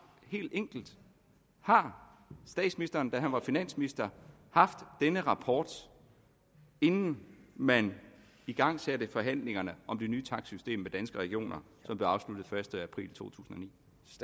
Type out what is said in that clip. helt enkelt har statsministeren da han var finansminister haft denne rapport inden man igangsatte forhandlingerne om det nye takstsystem med danske regioner som blev afsluttet første april 2009